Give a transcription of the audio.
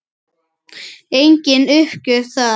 Engin uppgjöf þar.